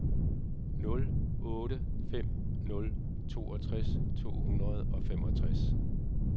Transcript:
nul otte fem nul toogtres to hundrede og femogtres